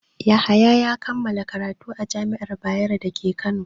Yahaya ya kammala karatu a jami'ar Bayero da ke Kano.